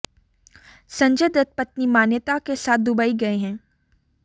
संजय दत्त पत्नी मान्यता के साथ दुबई गए हैं